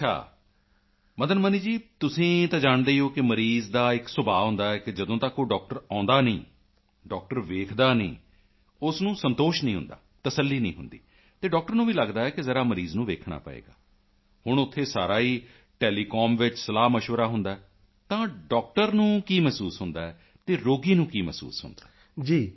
ਅੱਛਾ ਮਦਨ ਮਨੀ ਜੀ ਤੁਸੀਂ ਤਾਂ ਜਾਣਦੇ ਹੀ ਹੋ ਕਿ ਮਰੀਜ਼ ਤਾਂ ਇੱਕ ਸੁਭਾਅ ਹੁੰਦਾ ਹੈ ਕਿ ਜਦੋਂ ਤੱਕ ਉਹ ਡਾਕਟਰ ਆਉਂਦਾ ਨਹੀਂ ਹੈ ਡਾਕਟਰ ਵੇਖਦਾ ਨਹੀਂ ਹੈ ਉਸ ਨੂੰ ਸੰਤੋਸ਼ ਨਹੀਂ ਹੁੰਦਾ ਅਤੇ ਡਾਕਟਰ ਨੂੰ ਵੀ ਲਗਦਾ ਹੈ ਕਿ ਜ਼ਰਾ ਮਰੀਜ਼ ਨੂੰ ਵੇਖਣਾ ਪਵੇਗਾ ਹੁਣ ਉੱਥੇ ਸਾਰਾ ਹੀ ਟੈਲੀਕਾਮ ਵਿੱਚ ਸਲਾਹਮਸ਼ਵਰਾ ਹੁੰਦਾ ਹੈ ਤਾਂ ਡਾਕਟਰ ਨੂੰ ਕੀ ਮਹਿਸੂਸ ਹੁੰਦਾ ਹੈ ਰੋਗੀ ਨੂੰ ਕੀ ਮਹਿਸੂਸ ਹੁੰਦਾ ਹੈ